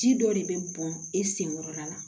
Ji dɔ de bɛ bɔn e sen kɔrɔla la